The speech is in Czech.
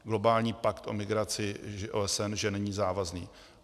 Globální pakt o migraci OSN, že není závazný.